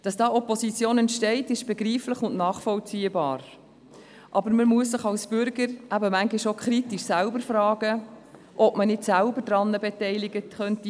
Dass da Opposition entsteht, ist begreiflich und nachvollziehbar, aber man muss sich als Bürger eben manchmal auch kritisch fragen, ob man nicht selbst daran beteiligt sein könnte.